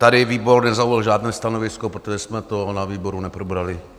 Tady výbor nezaujal žádné stanovisko, protože jsme to na výboru neprobrali.